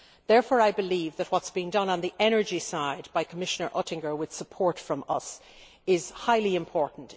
Therefore, I believe that what is being done on the energy side by Commissioner Oettinger, with support from us, is highly important.